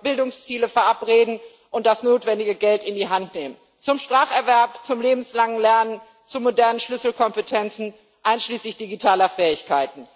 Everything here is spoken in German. Bildungsziele verabreden und das notwendige Geld in die Hand nehmen zum Spracherwerb, zum lebenslangen Lernen, zu modernen Schlüsselkompetenzen einschließlich digitaler Fähigkeiten?